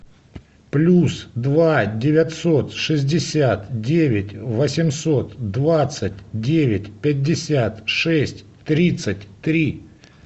плюс два девятьсот шестьдесят девять восемьсот двадцать девять пятьдесят шесть тридцать три